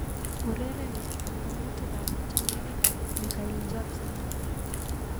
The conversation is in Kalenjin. Ureren banganutikab tiewogikab Micheal Jackson